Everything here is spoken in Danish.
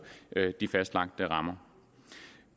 de fastlagte rammer